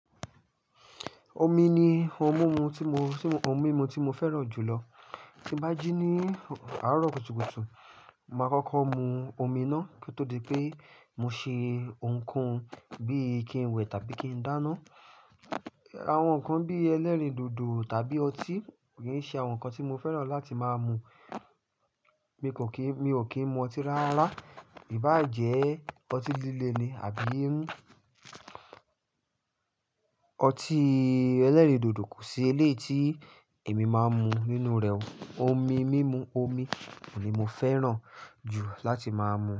Omi ni ohun mumu tí mo, tí mo, ohun mímu tí mo fẹ́ràn jù lọ. Tí n bá jí ní àárọ̀ kùtùkùtù, màá kọ́kọ́ mu omi náá kí ó tó di pé mo ṣe ohun kohun bí i kí n wẹ̀ tàbí kí n dáná. Àwọn nǹkan bí ẹlẹ́rìndòdò tàbí ọtí ò i ṣe àwọn nǹkan tí mo fẹ́ràn láti máa mu. Mi kò kí n, mi ò kí ń mu ọtí rárá. Ìbá jẹ, ọtí líle ni àbí Ọtí ẹlẹ́rìndòdò kò sí elé tí èmi máa ń mu nínú rẹ̀. Omi, mímu omi ni mo fẹ́ràn jù láti máa mu.